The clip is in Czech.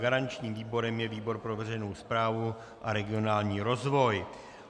Garančním výborem je výbor pro veřejnou správu a regionální rozvoj.